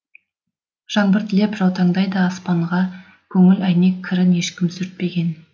жаңбыр тілеп жаутаңдайды аспанға көңіл әйнек кірін ешкім сүртпеген